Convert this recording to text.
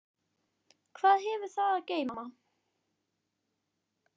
Hvað hefur það að geyma?